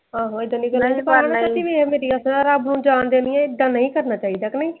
ਆਹੋ ਇੱਦਾ ਨਹੀ ਕਰਨਾ ਮੈਂ ਤੇ ਕਿਹੜੀ ਵੀ ਹੀ ਆ ਰੱਬ ਨੂੰ ਜਾਂ ਦੇਣੀ ਆ ਇੱਦਾ ਨਹੀਂ ਕਰਨਾ ਚਾਹੀਦਾ ਕ ਨਹੀਂ।